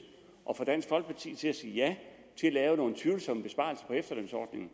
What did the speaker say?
at få dansk folkeparti til at sige ja til at lave nogle tvivlsomme besparelser på efterlønsordningen